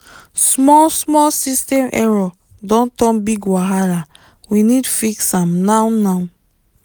small small system error don turn big wahalawe need fix am now now